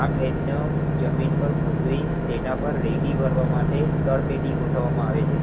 આ પ્લેટનું જમીન પર ગોઠવી તેના પાર રેતી ભરવા માટે તરપેટી ગોઠવવામાં આવે છે.